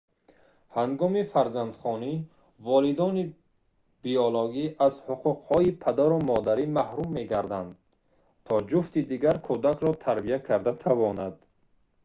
ҳангоми фарзандхонӣ волидони биологӣ аз ҳуқуқҳои падару модарӣ маҳрум мегарданд то ҷуфти дигар кӯдакро тарбия карда тавонад